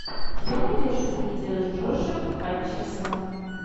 что найдешь из видео с джошем хатчерсоном